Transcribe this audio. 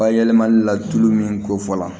Bayɛlɛmali la tulu min kofɔ la